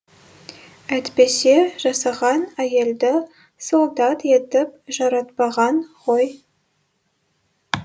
әйтпесе жасаған әйелді солдат етіп жаратпаған ғой